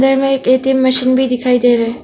यहां में एक ए_टी_यम मशीन भी दिखाई दे रहा है।